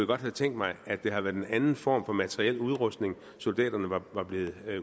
godt have tænkt mig at det havde været en anden form for materiel udrustning soldaterne var blevet